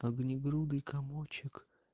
огнегрудый комочек